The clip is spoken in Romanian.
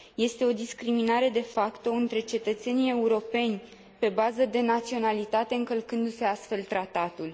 Este o discriminare de facto între cetățenii europeni pe bază de naționalitate, încălcându se, astfel, Tratatul.